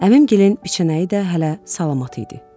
Əvəngilin biçənəyi də hələ salamat idi.